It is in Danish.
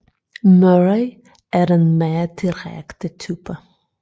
Murray er den mere direkte type